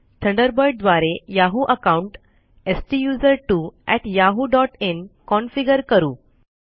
Thunderbird द्वारे Yahoo account STUSERTWOyahooin configure करू